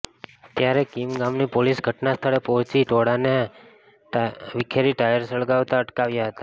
ત્યારે કિમ ગામની પોલીસ ઘટના સ્થળે પોહચી ટોળાને વિખેરી ટાયર સલગાવતા અટકાવ્યા હતા